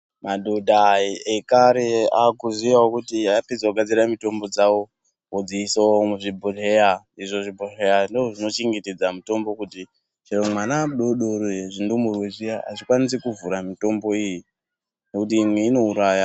Madhodha ekare aakuziyawo kuti apedza kugadzira mitombo dzao odziisao muzvibhodhleya izvo zvibhodhleya ndoozvinochengetedza mitombo kuti chero mwana mudodori zvindumurwe zviya azvikwanisi kuvhura mitombo iyi nekuti imwe inouraya.